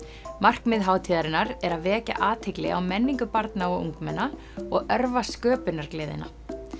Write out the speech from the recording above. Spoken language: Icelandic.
markmið hátíðarinnar er að vekja athygli á menningu barna og ungmenna og örva sköpunargleðina